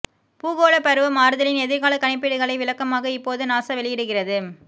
பூகோளப் பருவ மாறுதலின் எதிர்காலக் கணிப்பீடுகளை விளக்கமாக இப்போது நாசா வெளியிடுகிறது